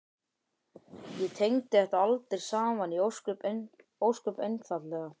Ég tengdi þetta aldrei saman, ósköp einfaldlega.